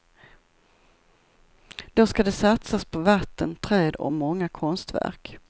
Då ska det satsas på vatten, träd och många konstverk.